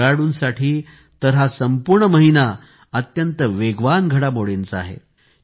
खेळाडूंसाठी तर हा संपूर्ण महिना अत्यंत वेगवान घडामोडींचा आहे